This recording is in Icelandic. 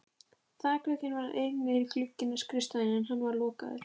Vilmundur og Hallbjörn eru útsmognir esperantistar